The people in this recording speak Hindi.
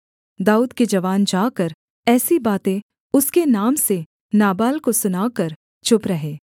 दाऊद के जवान जाकर ऐसी बातें उसके नाम से नाबाल को सुनाकर चुप रहे